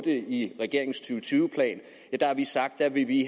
i regeringens to og tyve plan har vi sagt at vi